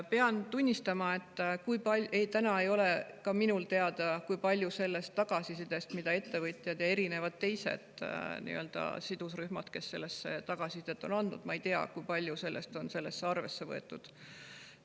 Pean tunnistama, et täna ei ole ka minul teada, kui palju sellest tagasisidest, mida on andnud ettevõtjad ja erinevad teised sidusrühmad, on arvesse võetud.